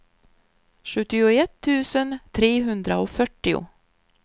sjuttioett tusen trehundrafyrtio